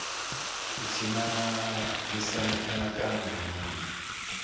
ti cinamisa mianakanyo ya munhu